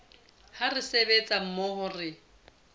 ha re sebetsa mmoho re